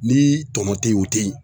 Ni tɔnɔ te ye u teyi